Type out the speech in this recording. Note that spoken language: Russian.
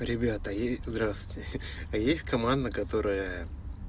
ребята и здравствуйте есть команда которая